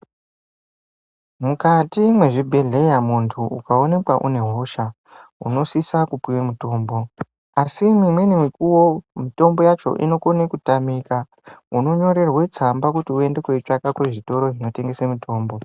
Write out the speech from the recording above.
Mukati mwezvibhehleya muntu ukaonekwa une hosha unosisa kupuwe mutombo. Asi mimweni mikuwo mitombo yacho inokone katamika, unonyorerwe tsamba kuti uende kooitsvaka kuzvitoro zvinotengese mitombo.